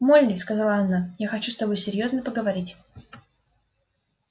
молли сказала она я хочу с тобой серьёзно поговорить